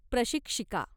प्रशिक्षिका